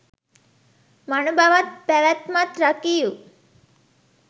මනුබවත් පැවැත්මත් රකිව්